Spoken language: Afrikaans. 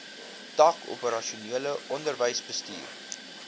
tak operasionele onderwysbestuur